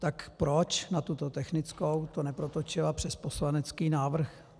Tak proč na tuto technickou to neprotočila přes poslanecký návrh?